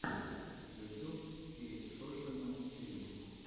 ютюб кейтшошина фильм